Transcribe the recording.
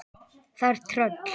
Það er tröll.